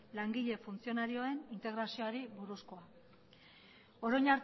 langile funtzionarioen integraziori buruzkoa